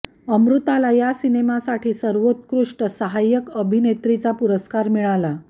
अमृताला या सिनेमासाठी सर्वोत्कृष्ट सहायक अभिनेत्रीचा पुरस्कार मिळाला